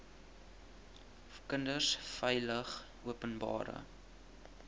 kinders veilig openbare